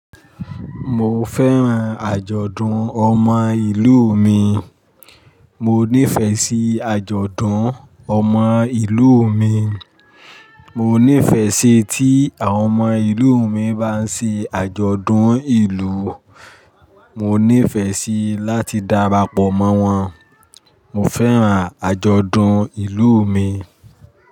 Mo fẹ́ràn àjọ̀dún ọmọ ìlú mi. Mo nífẹ̀ẹ́ sí àjọ̀dún ọmọ ìlú mi. Mo nífẹ̀ẹ́ sí tí àwọn ọmọ ìlú mi bá ń ṣe àjọ̀dún ìlú. Mo nífẹ̀ẹ́ sí láti darapọ̀ mọ́ wọn. Mo fẹ́ràn àjọ̀dún ìlú mi.